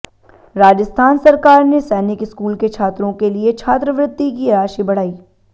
राजस्थान सरकार ने सैनिक स्कूल के छात्रों के लिए छात्रवृत्ति की राशि बढ़ाई